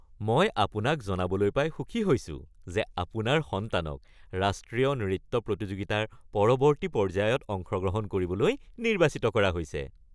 মই আপোনাক জনাবলৈ পাই সুখী হৈছো যে আপোনাৰ সন্তানক ৰাষ্ট্ৰীয় নৃত্য প্ৰতিযোগিতাৰ পৰৱৰ্তী পৰ্য্যায়ত অংশগ্ৰহণ কৰিবলৈ নিৰ্বাচিত কৰা হৈছে। (নৃত্য শিক্ষক)